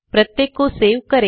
प्रत्येक को सेव करें